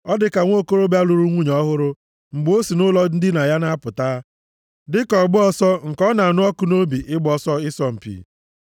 Ọ dị ka nwokorobịa lụrụ nwunye ọhụrụ mgbe o si nʼụlọ ndina ya na-apụta, dịka ọgba ọsọ nke ọ na-anụ ọkụ nʼobi ịgba ọsọ ịsọ mpi.